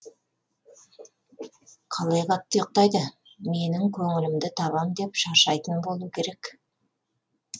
қалай қатты ұйықтайды менің көңілімді табам деп шаршайтын болу керек